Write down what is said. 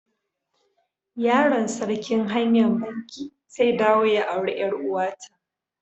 Yaron sarkin hanya'n Bankee zai dawo ya aure yar uwa ta.